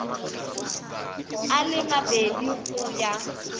a le mabedi go ya